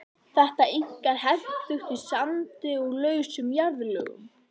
Þetta er einkar hentugt í sandi og lausum jarðlögum.